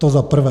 To za prvé.